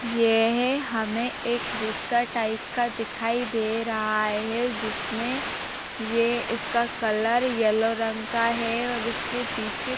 यह हमें एक रिक्शा टाइप का दिखाई दे रहा है। जिसमें ये इसका कलर येलो रंग का है और इसके पीछे --